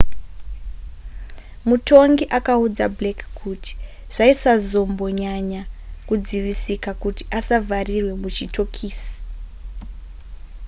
mutongi akaudza blake kuti zvaisazombonyanya kudzivisika kuti asavharirwe kuchitokisi